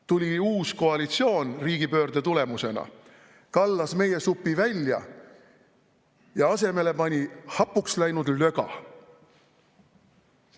Tuli uus koalitsioon riigipöörde tulemusena, kallas meie supi välja ja asemele pani hapuks läinud löga.